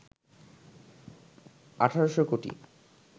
১,৮০০ কোটি